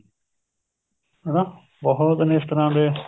ਹਣਾ ਬਹੁਤ ਨੇ ਇਸ ਤਰ੍ਹਾਂ ਦੇ